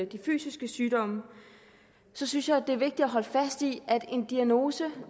de fysiske sygdomme så synes jeg det er vigtigt at holde fast i at en diagnose